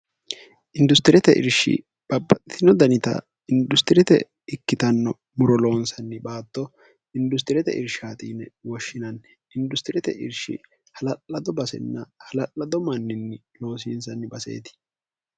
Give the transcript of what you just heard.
industirete irshi babbaxitino danita industirete ikkitanno muro loonsanni baatto industirete irshi haaxiine woshshinanni industirete irshi hala'lado basenna hala'lado manninni loosiinsanni baseeti